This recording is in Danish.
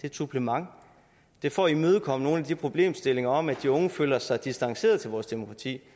et supplement det er for at imødegå nogle af de problemstillinger om at de unge føler sig distanceret til vores demokrati